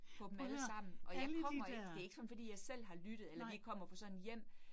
På dem allesammen, og jeg kommer ikke, det ikke sådan fordi jeg selv har lyttet eller lige kommer fra sådan et hjem